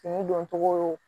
Kun doncogo